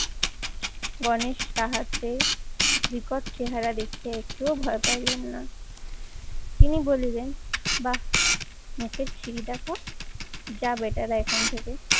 গণেশ তাহাতে বিকট চেহারা দেখে একটুও ভয় পাইলেন না। তিনি বলিলেন বাহ মুখের ছিরি দেখো যা বেটারা এখান থেকে